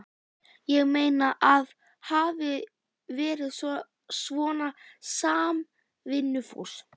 Ég meina, að hafa verið svona samvinnufús.